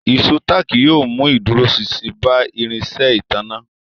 Ìṣó táàkì yóò mú ìdúróṣinṣin bá irinṣẹ́ ìtanná